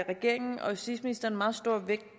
regeringen og justitsministeren meget stor vægt